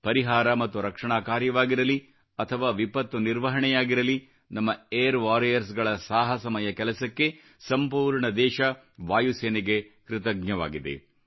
ಪರಿಹಾರ ಮತ್ತು ರಕ್ಷಣಾ ಕಾರ್ಯವಾಗಿರಲಿ ಅಥವಾ ವಿಪತ್ತು ನಿರ್ವಹಣೆಯಾಗಿರಲಿ ನಮ್ಮ ಏರ್ ವಾರಿಯರ್ಸ್ಗುಳ ಸಾಹಸಮಯ ಕೆಲಸಕ್ಕೆ ಸಂಪೂರ್ಣ ದೇಶ ವಾಯುಸೇನೆಗೆ ಕೃತಜ್ಞವಾಗಿದೆ